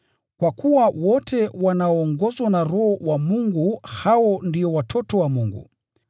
Kwa kuwa wote wanaoongozwa na Roho wa Mungu, hao ndio watoto wa Mungu.